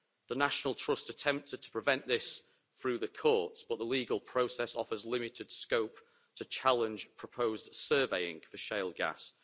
The National Trust attempted to prevent this through the courts, but the legal process offers limited scope to challenge proposed surveying for shale gas.